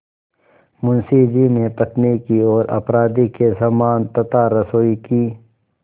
मुंशी जी ने पत्नी की ओर अपराधी के समान तथा रसोई की